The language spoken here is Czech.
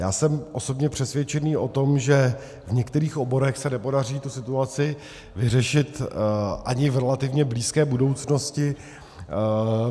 Já jsem osobně přesvědčený o tom, že v některých oborech se nepodaří tu situaci vyřešit ani v relativně blízké budoucnosti.